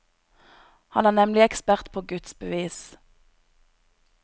Han er nemlig ekspert på gudsbevis.